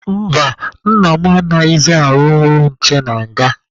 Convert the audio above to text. Mba, nna m anaghịzị arụ ọrụ nche na nga.